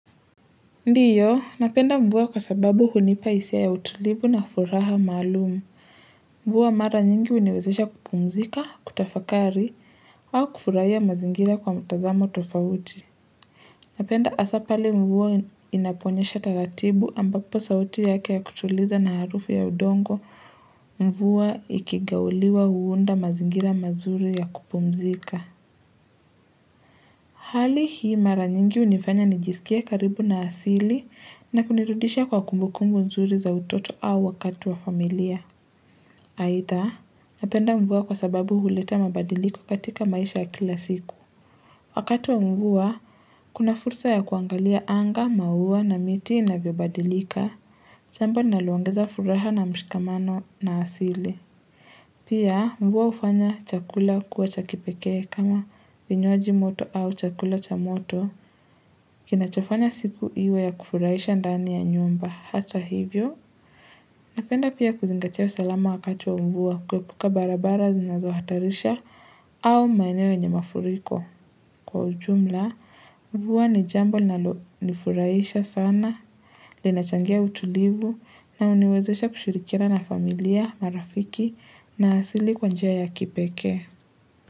Ndio, napenda mvua kwa sababu hunipa hisia ya utulivu na furaha maalum. Mvua mara nyingi huniwezesha kupumzika, kutafakari, au kufurahia mazingira kwa mtazamo tofauti. Napenda haswa pale mvua inaponyesha taratibu ambapo sauti yake ya kutuliza na harufu ya udongo. Mvua ikigauliwa huunda mazingira mazuri ya kupumzika. Hali hii mara nyingi hunifanya nijisikie karibu na asili, na kunirudisha kwa kumbu kumbu nzuri za utoto au wakati wa familia. Aidha, ninapenda mvua kwa sababu huleta mabadiliko katika maisha kila siku. Wakati wa mvua, kuna fursa ya kuangalia anga, maua na miti inavyobadilika. Jambo linaloongeza furaha na mshikamano na asili. Pia mvua hufanya chakula kuwa cha kipekee kama vinywaji moto au chakula cha moto Kinachofanya siku iwe ya kufuraisha ndani ya nyumba hata hivyo Napenda pia kuzingatia usalama wakati wa mvua kuepuka barabara zinazo hatarisha au maeneo yenye mafuriko kwa ujumla mvua ni jambo linalonifuraisha sana linachangia utulivu na huniwezesha kushirikiana na familia, marafiki na asili kwa njia ya kipekee.